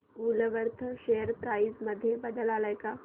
Woolworth share price मध्ये बदल आलाय का